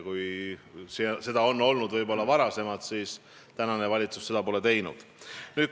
Kui seda on varem võib-olla olnud, siis tänane valitsus pole seda mitte kordagi teinud.